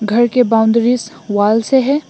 घर के boundaries wall से है।